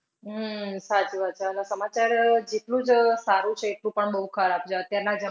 અમ સાચી વાત. સમાચાર જેટલું જ સારું છે એટલું પણ બઉ ખરાબ.